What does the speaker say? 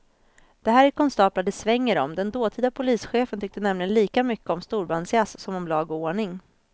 Det här är konstaplar det svänger om, den dåtida polischefen tyckte nämligen lika mycket om storbandsjazz som om lag och ordning.